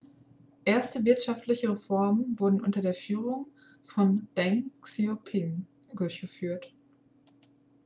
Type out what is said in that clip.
erste wirtschaftliche reformen wurden unter der führung von deng xiaoping durchgeführt